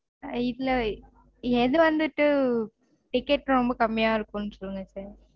இதுல எது வந்துட்டு ticket ரொம்ப கம்மியா இருக்கும் சொல்லுங்க